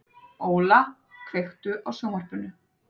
Óla, kveiktu á sjónvarpinu.